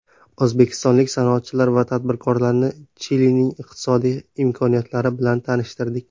O‘zbekistonlik sanoatchilar va tadbirkorlarni Chilining iqtisodiy imkoniyatlari bilan tanishtirdik.